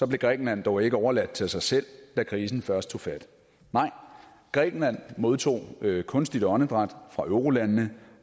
blev grækenland dog ikke overladt til sig selv da krisen først tog fat nej grækenland modtog kunstigt åndedræt fra eurolandene